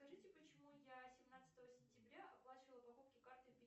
скажите почему я семнадцатого сентября оплачивала покупки картой